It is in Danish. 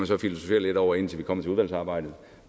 så filosofere lidt over indtil vi kommer til udvalgsarbejdet